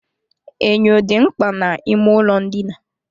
Enyo dị mkpa n'ime ụlọ ndina.